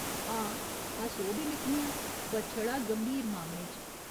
हां, अस ओह् बी लिखने आं, पर छड़ा गंभीर मामलें च।